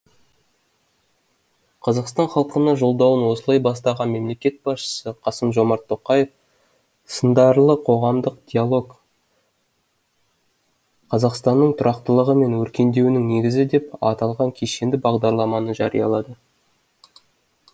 қазақстан халқына жолдауын осылай бастаған мемлекет басшысы қасым жомарт тоқаев сындарлы қоғамдық диалог қазақстанның тұрақтылығы мен өркендеуінің негізі деп аталған кешенді бағдарламаны жариялады